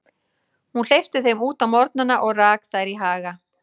Hún hleypti þeim út á morgnana og rak þær í haga.